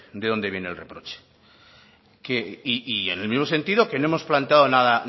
de dónde viene el reproche y en el mismo sentido que no hemos planteado